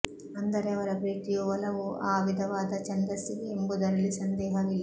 ಅಂದರೆ ಅವರ ಪ್ರೀತಿಯೂ ಒಲವೂ ಆ ವಿಧವಾದ ಛಂದಸ್ಸಿಗೇ ಎಂಬುದರಲ್ಲಿ ಸಂದೇಹವಿಲ್ಲ